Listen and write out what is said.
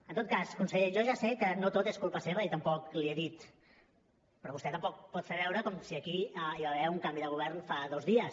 en tot cas conseller jo ja sé que no tot és culpa seva i tampoc l’hi he dit però vostè tampoc pot fer veure com si aquí hi va haver un canvi de govern fa dos dies